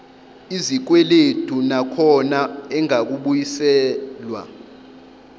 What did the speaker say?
izikweledu nakhona engakabuyiselwa